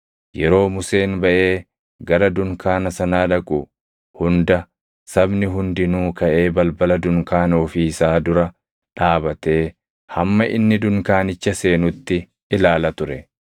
Yeroo Museen baʼee gara dunkaana sanaa dhaqu hunda sabni hundinuu kaʼee balbala dunkaana ofii isaa dura dhaabatee hamma inni dunkaanicha seenutti ilaala ture.